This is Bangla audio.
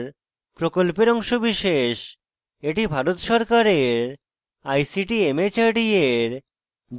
এটি ভারত সরকারের ict mhrd এর জাতীয় শিক্ষা mission দ্বারা সমর্থিত